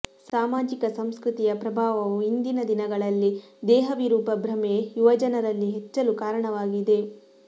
ಸಾಮಾಜಿಕ ಸಂಸ್ಕೃತಿಯ ಪ್ರಭಾವವೂ ಇಂದಿನ ದಿನಗಳಲ್ಲಿ ದೇಹವಿರೂಪ ಭ್ರಮೆ ಯುವಜನರಲ್ಲಿ ಹೆಚ್ಚಲು ಕಾರಣವಾಗಿದೆ